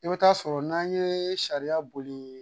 I bɛ taa sɔrɔ n'an ye sariya boli